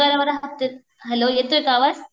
पगारावर हफ्ते. हॅलो येतोय का आवाज?